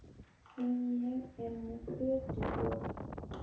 Því ég er með Kötu og